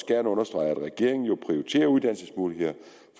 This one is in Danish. gerne understrege at regeringen prioriterer uddannelsesmuligheder